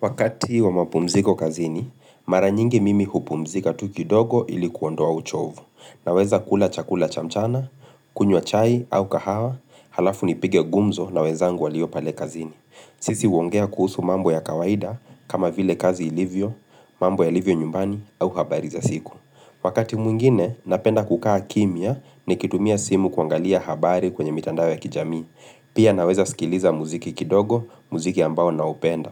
Wakati wa mapumziko kazini, mara nyingi mimi hupumzika tu kidogo ili kuondoa uchovu, naweza kula chakula chamchana, kunywa chai au kahawa, alafu ni pige gumzo na wezangu walio pale kazini. Sisi huongea kuhusu mambo ya kawaida kama vile kazi ilivyo, mambo ya ilivyo nyumbani au habari za siku. Wakati mwingine, napenda kukaa kimya nikitumia simu kuangalia habari kwenye mitandao ya kijami. Pia na weza skiliza muziki kidogo, muziki ambao na upenda.